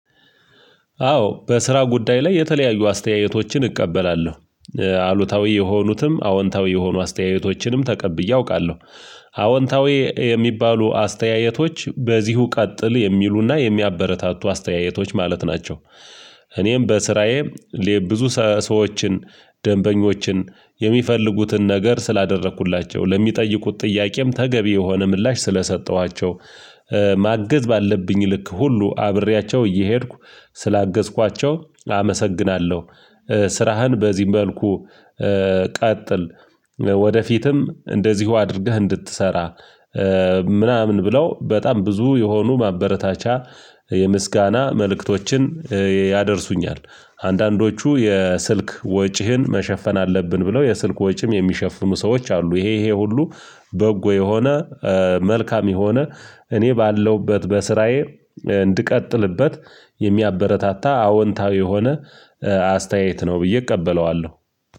አዎ በስራ ጉዳይ ላይ የተለያዩ አስተያየቶችን እቀበላለሁ አሉታዊ የሆኑትም አዎንታዊ የሆኑ አስተያየቶችንም ተቀብዬ አውቃለሁ። አዎንታዊ የሚባሉ አስተያየቶች በዚሁ ቀጥል የሚሉና የሚያበረታቱ አስተያየቶች ማለት ናቸው። እኔም በስራዬ ብዙ ሰዎችን ደንበኞችን የሚፈልጉትን ነገር ስላደረኩላቸው ለሚጠይቁት ጥያቄም ተገቢ የሆነ ምላሽ ስለሰጠኋቸው ማገዝ ባለብኝ ልክ ሁሉ አብሬያቸው እየሄድኩ ስላገዝኳቸው አመሰግናለሁ። ስራህን በዚህም መልኩ ቀጥል ወደፊትም እንደዚሁ አድርገህ እንድትሰራ ምናምን ብለው በጣም ብዙ የሆኑ ማበረታቻ የምስጋና መልእክቶችን ያደርሱኛል። አንዳንዶቹ የስልክ ወጪህን መሸፈን አለብን ብለው የስልክ ወጪም የሚሸፍኑ ሰዎች አሉ። ይሄ ይሄ ሁሉ በጎ የሆነ መልካም የሆነ እኔ ባለሁበት በስራዬ እንድቀጥልበት የሚያበረታታ አወንታዊ የሆነ አስተያየት ነው ብዬ እቀበለዋለሁ